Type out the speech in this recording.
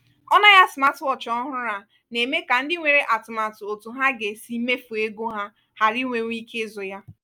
ọnụ ahịa smartwatch ọhụrụ a na-eme ka ndị nwere atụmatụ otu ha ga-esi mefu ego ha ghara inwewu ike ịzụ ya.